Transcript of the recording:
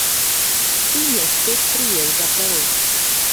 In je spet prijel za pero.